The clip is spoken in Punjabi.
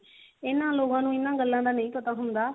ਇਹਨਾਂ ਲੋਕਾਂ ਨੂੰ ਇਹਨਾਂ ਗੱਲਾਂ ਦਾ ਨਹੀ ਪਤਾ ਹੁੰਦਾ